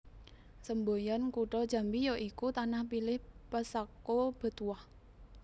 Semboyan Kutha Jambi ya iku Tanah Pilih Pesako Betuah